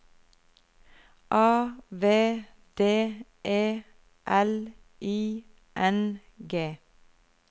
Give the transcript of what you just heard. A V D E L I N G